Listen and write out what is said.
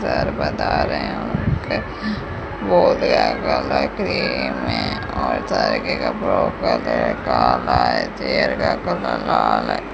का colour cream है और के कपड़ों का कलर काला है चेयर का कलर लाल है।